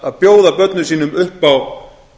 að bjóða börnum sínum upp á